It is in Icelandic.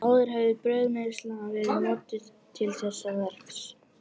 Áður hafði brauðmylsna verið notuð til þessa verks.